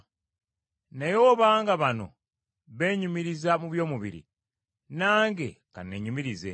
Naye obanga bano beenyumiriza mu by’omubiri nange ka nneenyumirize.